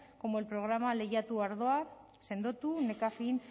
como los programas lehiatu ardoa sendotu nekafin